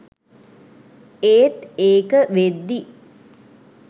ඒත් ඒක වෙද්දි